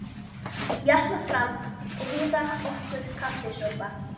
Ég ætla fram og hita okkur kaffisopa.